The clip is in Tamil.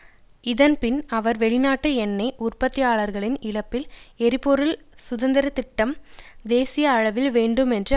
இதன் பின் அவர் வெளிநாட்டு எண்ணெய் உற்பத்தியாளர்களின் இழப்பில் எரிபொருள் சுதந்திர திட்டம் தேசிய அளவில் வேண்டும் என்று அவர் கூறினார்